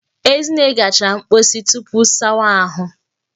Ezinne gachara mposi tupu sawa ahụ